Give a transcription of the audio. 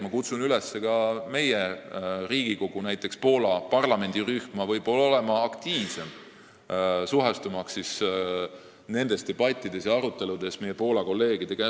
Ma kutsun üles ka Riigikogu, näiteks Eesti-Poola parlamendirühma, olema aktiivsem, suhestumaks nendes debattides ja aruteludes meie Poola kolleegidega.